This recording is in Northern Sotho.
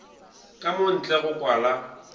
ka mo ntle go kwala